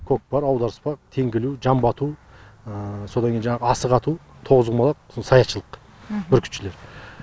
көкпар аударыспақ теңге ілу жамбы ату содан кейін жаңағы асық ату тоғызқұмалақ сон саятшылық бүркітшілер